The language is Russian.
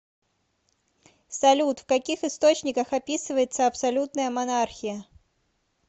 салют в каких источниках описывается абсолютная монархия